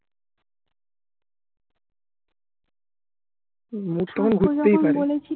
mood তখন ঘুরতেই পারে